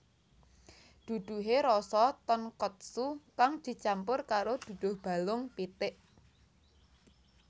Duduhe rasa tonkotsu kang dicampur karo duduh balung pitik